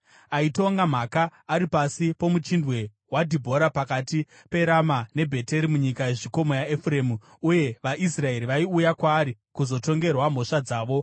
Aitonga mhaka ari pasi poMuchindwe waDhibhora pakati peRama neBheteri munyika yezvikomo yaEfuremu, uye vaIsraeri vaiuya kwaari kuzotongerwa mhosva dzavo.